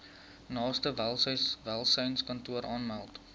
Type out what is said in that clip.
naaste welsynskantoor aanmeld